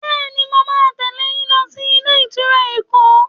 Bẹẹni, mo máa tẹle yín lọ sí ilé ìtura Èkó.